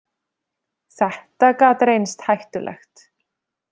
Þetta gat reynst hættulegt.